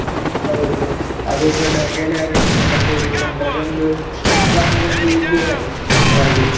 ಹೌದು ಅದು ಕೂಡ ಗೆಳೆಯರೊಟ್ಟಿಗೆ ಎಲ್ಲ ಸೇರಿಕೊಂಡು ಅದೊಂದು ನಮಿಗೊಂದು ಇದರಾಗೆ jolly .